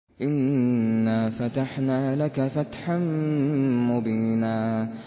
إِنَّا فَتَحْنَا لَكَ فَتْحًا مُّبِينًا